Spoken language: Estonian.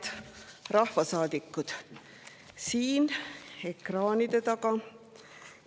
Head rahvasaadikud siin ja ekraanide taga!